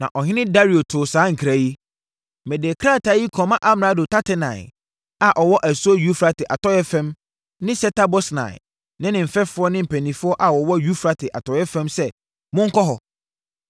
Na ɔhene Dario too saa nkra yi: Mede krataa yi kɔma amrado Tatenai a ɔwɔ asuo Eufrate atɔeɛ fam ne Setar-Bosnai ne mo mfɛfoɔ ne mpanimfoɔ a wɔwɔ Eufrate atɔeɛ fam sɛ monnkɔ hɔ.